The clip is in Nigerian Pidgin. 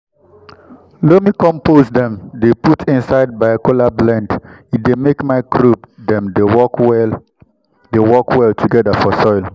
loamy compost dem dey put inside biochar blend e dey make microbe dem dey work well dey work well together for soil.